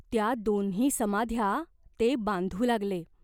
त्या दोन्ही समाध्या ते बांधू लागले.